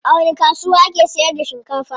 A wani kasuwa ake sayar da shinkafa?